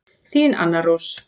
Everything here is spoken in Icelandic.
Þín Anna Rós.